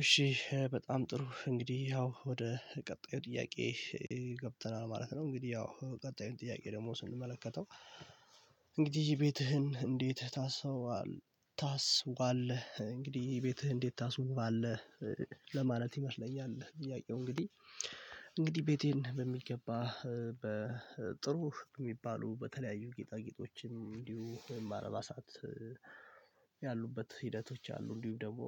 እሺ በጣም ጥሩ እንግዲህ ያው ወደ ቀጣዩ ጥያቄ ገብተናል ማለት ነው እንግዲህ ያው ቀጣዩን ጥያቄ ደግሞ ስንመለከተው እንግዲህ ቤትህን እንዴት ታሱባለህ? ታስዉባለህ እንግዲህ ቤትህ እንዴት ታስዉባለህ? ለማለት ይመስለኛል እያየሁ እንግዲህ እንግዲህ ቤቴን በሚገባ በጥሩ የሚባሉ በተለያዩ ጌጣጌጦችም እንዲሁ አልባሳት ያሉበት ሂደቶች አሉ እንዲሁ ደግሞ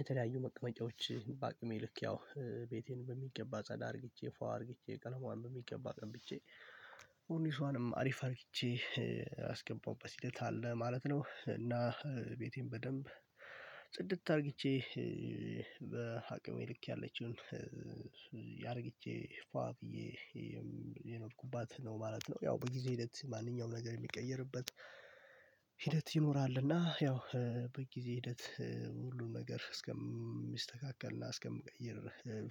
የተለያዩ መቅመጫዎች በአቅሜ ልክ ያው ቤቴን በሚገባ ጻዳ አድርጌቼ ፋዋ አድርጌቼ ቀለማዋን በሚገባ ቀብቼ ኮርኒሷንም አሪፍ አርግቼ አስገባውበት ሂደት አለ ማለት ነው እና ቤቴን በደንብ ጽድት አድርግቼ በአቅሜ ልክ ያለችውን ያአርግቼ ፏ ብዬ እየኖርኩባት ነው ማለት ነው። ያው በጊዜ ሂደት ማንኛውም ነገር የሚቀየርበት ሂደት ይኖራል እና ያው በጊዜ ሂደት ሁሉን ነገር እስከሚስተካከልና እስከምቀይር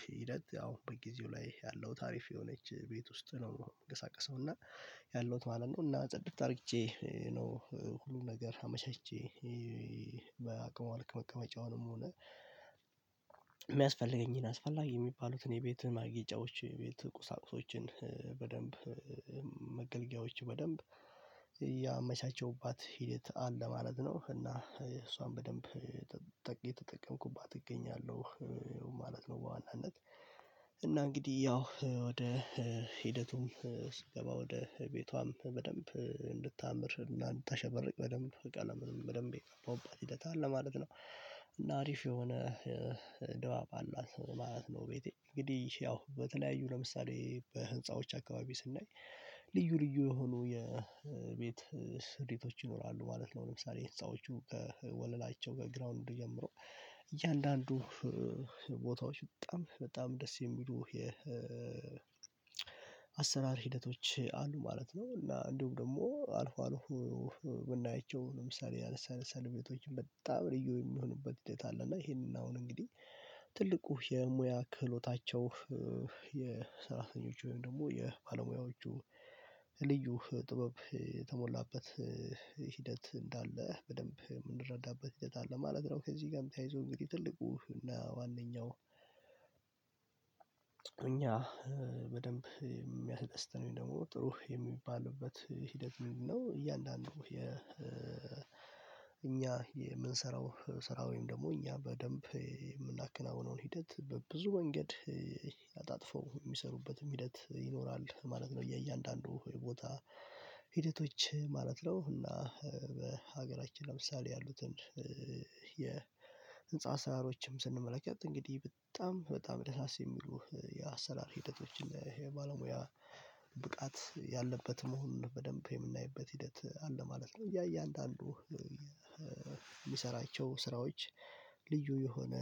ሂደት አሁን በጊዜው ላይ ያለውት አሪፍ የሆነች ቤት ውስጥ ነው። የምንሳቀሰው እና ያለውት ማለት ነው እና ጸድት አርግቼ ነው ሁሉን ነገር አመቻቼ በአቅሟ ልክ መቀመጫውንም ሆነ የሚያስፈልገኝን አስፈላጊ የሚባሉትን የቤት ማጌጫዎችን የቤት ቁሳቁሶችን በደንብ መገልገያዎች በደንብ ያመቻቸውባት ሂደት አለ ማለት ነው። እና እሷን በደንብ እየተጠቀምኩባት እገኛለሁ ማለት ነው። በዋናነት እና እንግዲህ ያው ወደ ሂደቱም ስገባ ወደ ቤቷም በደንብ እንድታምር እና እንድታሸበርቅ በደንብ ቀለምንም በደንብ የቀባዉባት ሂደት አለ ማለት ነው እና አሪፍ የሆነ ድባብ አላት ማለት ነው። ቤቴ እንግዲህ ያው በተለያዩ ለምሳሌ በህንፃዎች አካባቢ ስናይ ልዩ ልዩ የሆኑ የቤት ስሪቶች ይኖራሉ ማለት ነው። ለምሳሌ ህንፃዎቹ ወለላቸው ከ ግራውንድ ጀምሮ እያንዳንዱ ቦታዎች በጣም በጣም ደስ የሚሉ የ አሰራር ሂደቶች አሉ ማለት ነው። እና እንዲሁም ደግሞ አልፎ አልፎ የምናያቸው ለምሳሌ አነስ አነስ ያሉ ቤቶች በጣም ልዩ የሚሆኑበት ሂደት አለ። እና ይሄንን አሁን እንግዲህ ትልቁ የሙያ ክህሎታቸው የሰራተኞቹ ወይም ደግሞ የባለሙያዎቹ ልዩ ጥበብ የተሞላበት ሂደት እንዳለ በደንብ የምንረዳበት ሂደት አለ ማለት ነው። ከዚህ ጋርም ተያይዞ እንግዲህ ትልቁ እና ዋነኛው እኛ በደንብ የሚያስደስተን ወይም ደግሞ ጥሩ የሚባልበት ሂደት ምንድነው? እያንዳንዱ የ እኛ የምንሰራው ስራ ወይም ደግሞ እኛ በደንብ የምናከናውነውን ሂደት በብዙ ወንገድ አጣጥፎ የሚሰሩበትም ሂደት ይኖራል ማለት ነው። የእያንዳንዱ የቦታ ሂደቶች ማለት ነው እና በሀገራችን ለምሳሌ ያሉትን የህንፃ አሳራሮችም ስንመለከት እንግዲህ በጣም በጣም ደሳስ የሚሉ የአሰራር ሂደቶችን የባለሙያ ብቃት ያለበት መሆኑን በደንብ የምናይበት ሂደት አለ ማለት ነው። ያየ እያንዳንዱ የሚሰራቸው ስራዎች ልዩ የሆነ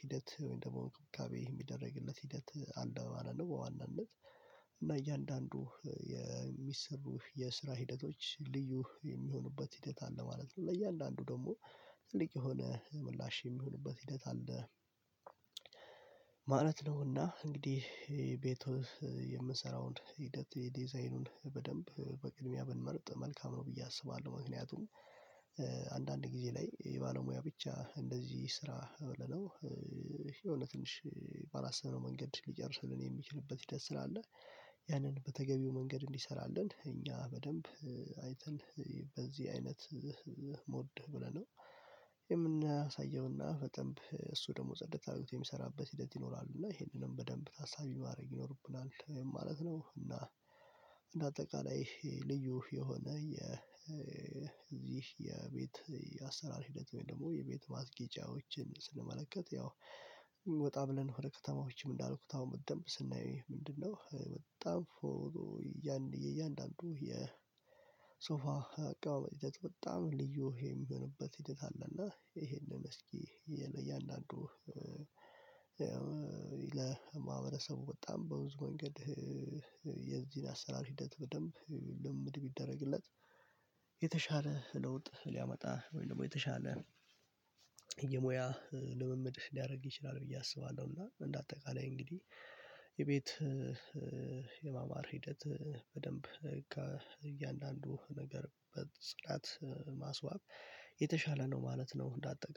ሂደት ወይም ደግሞ እንክብካቤ የሚደረግለት ሂደት አለ ማለት ነው። በዋናነት እና እያንዳንዱ የሚሰሩህ የስራ ሂደቶች ልዩ የሚሆኑበት ሂደት አለ ማለት ነው። ለእያንዳንዱ ደግሞ ትልቅ የሆነ ምላሽ የሚሆንበት ሂደት አለ ማለት ነውና እንግዲህ ቤቱ የምንሰራውን ሂደት የዲዛይኑን በደንብ በቅድሚያ ብንመርጥ መልካም ነው ብዬ አስባለሁ። ምክንያቱም አንዳንድ ጊዜ ላይ የባለሙያ ብቻ እንደዚ ስራ በለነው የሆነ ትንሽ ባላስብነው መንገድ ሊጨርስልን የሚችልበት ሂደት ስላለ ያንን በተገቢው መንገድ እንዲሰራልን እኛ በደንብ አይተን በዚህ አይነት ሞድ ብለነው የምናሳየውና በደንብ እሱ ደግሞ ጽደት አርግቶ የሚሰራበት ሂደት ይኖራሉ እና ይሄንንም በደንብ ታሳቢ ማድረግ ይኖርብናል ማለት ነው። እና እንደ አጠቃላይ ልዩ የሆነ የዚህ የቤት የአሰራር ሂደት ወይም ደግሞ የቤት ማስጌጫዎችን ስንመለከት ያው ወጣ ብለን ወደ ከተማዎችም እንዳልኩት አሁን በደንብ ስናየው ምንድነው በጣም ፎሎ የእያንዳንዱ የሶፋ አቀማመጥ ሂደት በጣም ልዩ የሚሆንበት ሂደት አለ። እና ይሄንን እስኪ የነ እያንዳንዱ ለማህበረሰቡ ወጣም በብዙ ወንገድ የዚህን አሰራር ሂደት በደንብ ልምምድ ቢደረግለት የተሻለ ለውጥ ሊያመጣ ወይ ደግሞ የተሻለ የሙያ ልምምድ ሊያደርግ ይችላል። ብዬ አስባለሁ እና እንደ አጠቃላይ እንግዲህ የቤት የማማር ሂደት በደንብ ከእያንዳንዱ ነገር በጽዳት ማስዋብ የተሻለ ነው ማለት ነው። እንደ አጠቃላይ